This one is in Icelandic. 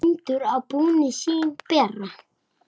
Bændur á túnin sín bera.